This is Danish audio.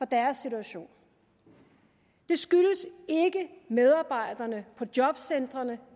deres situation det skyldes ikke medarbejderne på jobcentrene